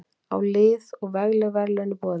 Á lið og vegleg verðlaun í boði.